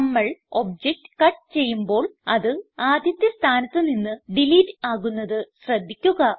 നമ്മൾ object cut ചെയ്യുമ്പോൾ അത് ആദ്യത്തെ സ്ഥാനത്ത് നിന്ന് ഡിലീറ്റ് ആകുന്നത് ശ്രദ്ധിക്കുക